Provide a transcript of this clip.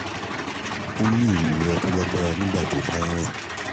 ó ń ní ìrora ń ní ìrora tó lágbára nígbà tó bá ń rìn